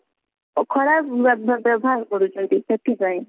ଖରାପ ବ୍ୟ ବ୍ୟ ବ୍ୟବହାର କରୁଛନ୍ତି ସେଥିପାଇଁ।